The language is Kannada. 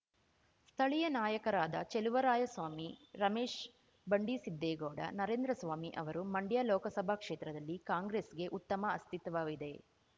ಸ್ಥಳೀಯ ನಾಯಕರಾದ ಚೆಲುವರಾಯಸ್ವಾಮಿ ರಮೇಶ್‌ ಬಂಡಿಸಿದ್ದೇಗೌಡ ನರೇಂದ್ರಸ್ವಾಮಿ ಅವರು ಮಂಡ್ಯ ಲೋಕಸಭಾ ಕ್ಷೇತ್ರದಲ್ಲಿ ಕಾಂಗ್ರೆಸ್‌ಗೆ ಉತ್ತಮ ಅಸ್ತಿತ್ವವಿದೆ